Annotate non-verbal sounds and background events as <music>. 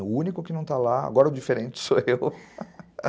O único que não está lá, agora o diferente sou eu <laughs>